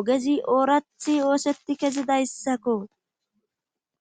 ogezi oorathi oosetti kezidayssakko.